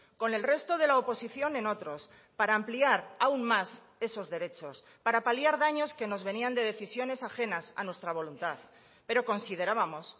con el resto de la oposición en otros para ampliar aún más esos derechos para paliar daños que nos venían de decisiones ajenas a nuestra voluntad pero considerábamos